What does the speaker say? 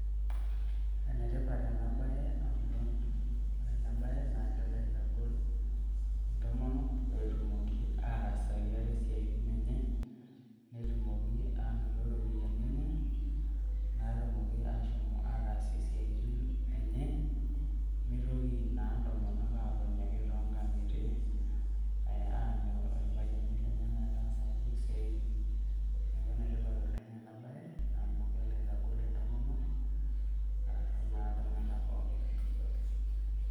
Ene tipat ena baye amu ore ena baye naake elo aitagol intomonok pee etumoki ataasaki ote isiatin enye netumoki anoto iropiai enye naatumoki ashom ataasie isiaitin enye, mitoki naa ntomonok aatoni ake too nkang'itie aanyu irpayiani lenye metaasaki siaitin. Neeeku ene tipat oleng' ena baye amu kelo aitagol intomonok arashu naa iltung'anak pookin.